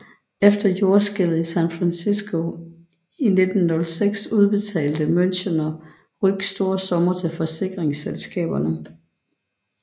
Efter jordskælvet i San Fransisco i 1906 udbetalte Münchener Rück store summer til forsikringsselskaberne